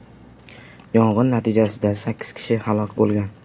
Yong‘in natijasida sakkiz kishi halok bo‘lgan.